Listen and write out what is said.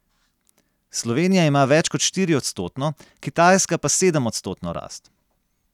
Slovenija ima več kot štiriodstotno, Kitajska pa sedemodstotno rast.